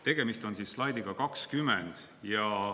Tegemist on slaidiga 20.